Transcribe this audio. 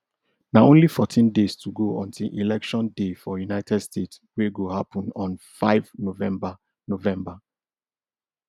na only fourteen days to go until election day for united states wey go happun on five november november